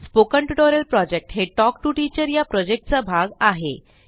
spoken tutorial project हे talk to teacher या प्रॉजेक्टचा भाग आहे